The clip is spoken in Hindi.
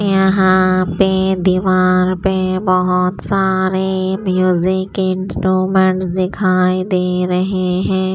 यहां पे दीवार पे बहुत सारे म्यूजिक इंस्ट्रूमेंट्स दिखाई दे रहे है।